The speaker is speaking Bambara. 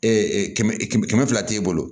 kɛmɛ kɛmɛ fila t'e bolo